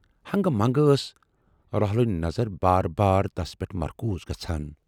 ہنگہٕ منگہٕ ٲس راہُلٕنۍ نظر بار بار تَس پٮ۪ٹھ مرکوٗز گَژھان۔